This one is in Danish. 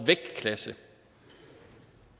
vægtklasse